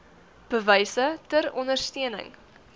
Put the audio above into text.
bewyse ter ondersteuning